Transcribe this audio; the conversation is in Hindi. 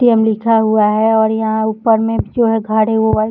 ए.टी.एम. लिखा हुआ है और यहाँ ऊपर में जो घर है व्हाइट --